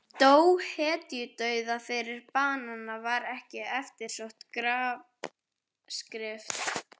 Dó hetjudauða fyrir banana var ekki eftirsótt grafskrift.